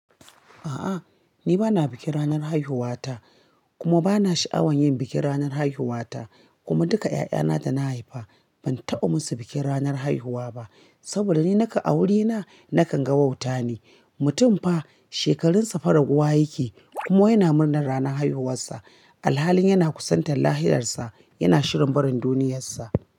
A'a, ni ba na bikin ranar haihuwata kuma ba na sha'awan yin bikin ranar haihuwata. Kuma duka ƴaƴana da na haifa ban taɓa musu bikin ranar haihuwa ba saboda ni naka a wurina nakan ga wauta ne. Mutum fa shekarunsa fa raguwa yake kuma yana murnar ranar haihuwarsa alhalin yana kusantar lahirsarsa, yana shirin barin duniyarsa.